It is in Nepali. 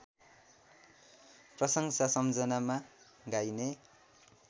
प्रशंसा सम्झनामा गाइने